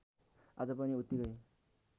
आज पनि उत्तिकै